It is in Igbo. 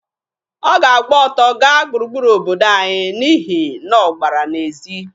Ọ ga-agba ọtọ gaa gburugburu obodo anyị n'ihi na ọ gbara n'ezi.